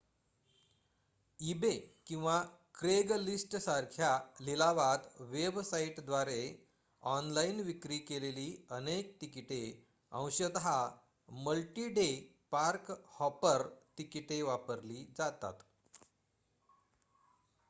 eBay किंवा क्रेगलिस्टसारख्या लिलाव वेबसाईटद्वारे ऑनलाइन विक्री केलेली अनेक तिकिटे अंशत मल्टी-डे पार्क-हॉपर तिकिटे वापरली जातात